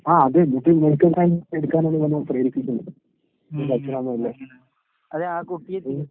ആഹ് അതന്നെ medical science എടുക്കാൻ പ്രേരിപ്പിക്കുന്ന് ഇവന്റച്ഛനമ്മയില്ലേ. ഉം.